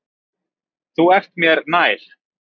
Þú ert mér nær.